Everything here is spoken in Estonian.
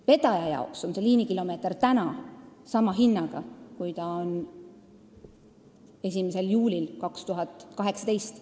Vedaja jaoks on liinikilomeeter täna sama hinnaga, nagu see on 1. juulil 2018.